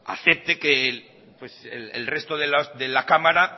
acepte que el resto de la cámara